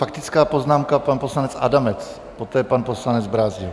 Faktická poznámka, pan poslanec Adamec, poté pan poslanec Brázdil.